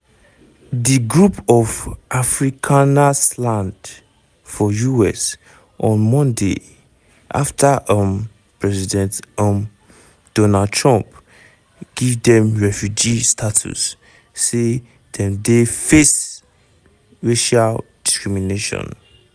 di group of afrikanersland for us on mondayafta um president um donald trump give dem refugee status say dem dey face racial discrimination.